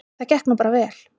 Það gekk nú bara vel.